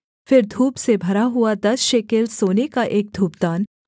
फिर धूप से भरा हुआ दस शेकेल सोने का एक धूपदान